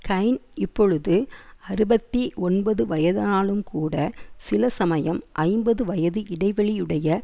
கைன் இப்பொழுது அறுபத்தி ஒன்பது வயதானாலும்கூட சில சமயம் ஐம்பது வயது இடைவெளியுடைய